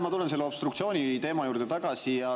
Ma tulen selle obstruktsiooniteema juurde tagasi.